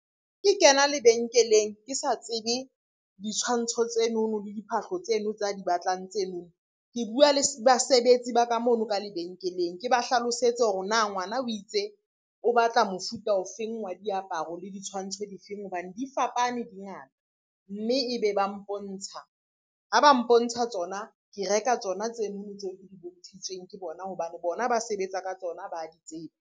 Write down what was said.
Ke kena lebenkeleng, ke sa tsebe ditshwantsho tsenono le diphahlo tseno tsa di batlang tseno. Ke bua le basebetsi ba ka mono ka lebenkeleng, ke ba hlalosetse hore na ngwana o itse o batla mofuta o feng wa diaparo le ditshwantsho difeng hobane di fapane di ngata, mme e be ba mpontsha ha ba mpontsha tsona, ke reka tsona tsenono tseo ke di bontshitsweng ke bona hobane bona ba sebetsa ka tsona ba di tseba.